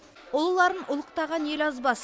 ұлыларын ұлықтаған ел азбас